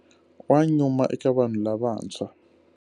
Wa nyuma eka vanhu lavantshwa.